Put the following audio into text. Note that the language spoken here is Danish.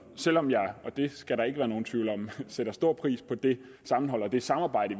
selv om jeg og det skal der ikke være nogen tvivl om sætter stor pris på det sammenhold og det samarbejde